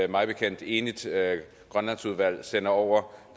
mig bekendt enigt grønlandsudvalg sender over